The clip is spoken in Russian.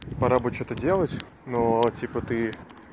пора бы что-то делать но типа ты